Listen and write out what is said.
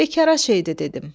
Bekara şeydir dedim.